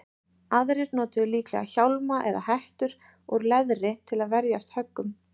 Aðrir notuðu líklega hjálma eða hettur úr leðri til að verjast höggum.